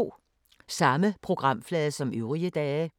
Samme programflade som øvrige dage